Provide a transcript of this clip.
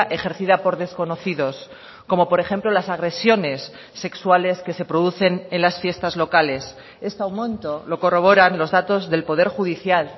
ejercida por desconocidos como por ejemplo las agresiones sexuales que se producen en las fiestas locales este aumento lo corroboran los datos del poder judicial